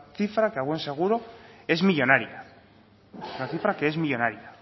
cifra que a buen seguro es millónaria la cifra que es millónaria